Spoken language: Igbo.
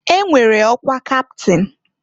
E nwere ọkwa kaptịn.